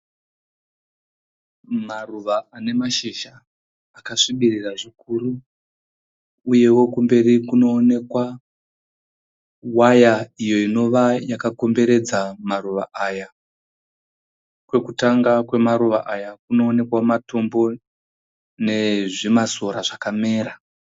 Maruva ane mashizha akasvibirira zvikuru uyewo kumberi kunoonekwa waya iyo inova yakakomberedza maruva aya. Kwekutanga kwemaruva aya kunooneka matombo nezvimasora zvakamera.